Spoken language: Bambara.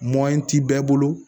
ti bɛɛ bolo